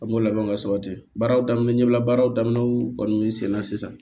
An b'o labɛn ka sabati baaraw daminɛ ɲɛbila baaraw daminɛw kɔni min sen na sisan